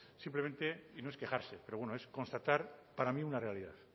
simplemente y no es quejarse pero bueno es constatar para mí una realidad